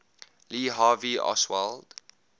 lee harvey oswald